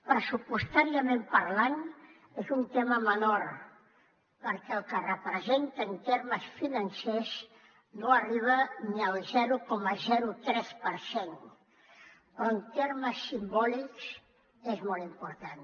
pressupostàriament parlant és un tema menor perquè el que representa en termes financers no arriba ni al zero coma tres per cent però en termes simbòlics és molt important